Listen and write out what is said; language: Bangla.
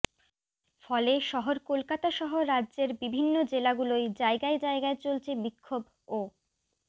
ফলে শহর কলকাতাসহ রাজ্যের বিভিন্ন জেলাগুলোয় জায়গায় জায়গায় চলছে বিক্ষোভ ও